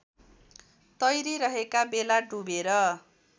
तैरिरहेका बेला डुबेर